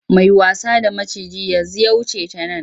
Mai wasa da maciji yanzu ya wuce ta nan.